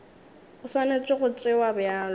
e swanetše go tšewa bjalo